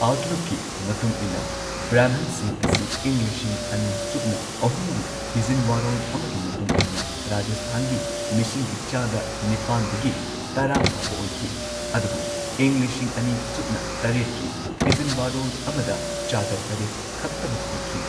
ꯑꯥꯎꯠꯂꯨꯛꯀꯤ ꯃꯇꯨꯡ ꯏꯟꯅ ꯕ꯭ꯔꯥꯍꯃꯟꯁꯤꯡ ꯑꯁꯤ ꯏꯪ ꯂꯤꯁꯤꯡ ꯑꯅꯤ ꯁꯨꯞꯅ ꯑꯍꯨꯝꯒꯤ ꯊꯤꯖꯤꯟ ꯋꯥꯔꯣꯜ ꯑꯃꯒꯤ ꯃꯇꯨꯡ ꯏꯟꯅ ꯔꯥꯖꯁꯊꯥꯟꯒꯤ ꯃꯤꯁꯤꯡꯒꯤ ꯆꯥꯗ ꯅꯤꯄꯥꯟꯗꯒꯤ ꯇꯔꯥ ꯐꯥꯎꯕ ꯑꯣꯏꯈꯤ, ꯑꯗꯨꯕꯨ ꯏꯪ ꯂꯤꯁꯤꯡ ꯑꯅꯤ ꯁꯨꯞꯅ ꯇꯔꯦꯠꯀꯤ ꯊꯤꯖꯤꯟ ꯋꯥꯔꯣꯜ ꯑꯃꯗ ꯆꯥꯗ ꯇꯔꯦꯠ ꯈꯛꯇꯃꯛ ꯑꯣꯏꯈꯤ꯫